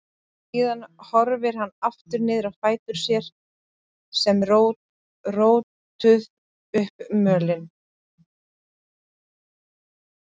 Síðan horfði hann aftur niður á fætur sér sem rótuðu upp mölinni.